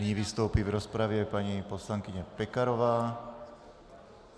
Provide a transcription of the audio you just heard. Nyní vystoupí v rozpravě paní poslankyně Pekarová.